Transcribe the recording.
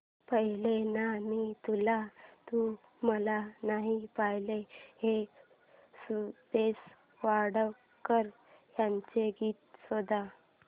पाहिले ना मी तुला तू मला ना पाहिले हे सुरेश वाडकर यांचे गीत शोध